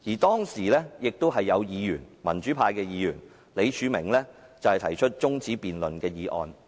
當時亦有民主派議員李柱銘提出辯論中止待續的議案。